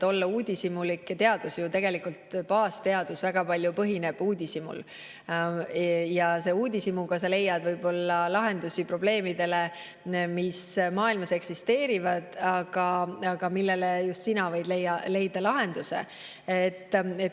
Teadus tegelikult, baasteadus, ju väga paljus põhinebki uudishimul ja selle uudishimuga sa leiad võib-olla lahendusi probleemidele, mis maailmas eksisteerivad ja millele just sina võid leida lahenduse.